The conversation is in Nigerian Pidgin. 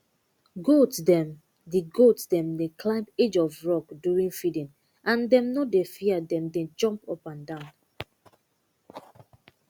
goat dem dey goat dem dey climb edge of rock during feeding and dem nor dey fear dem dey jump up and down